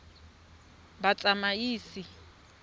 batsamaisi